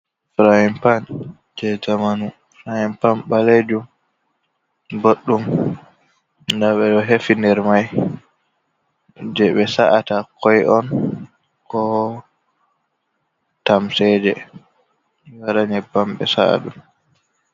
Frain pan je jamanu frain pan balejum, boddum, dabe do hefi nder mai je be sa’ata koi on ko tamseje wada nybam be sa’adum.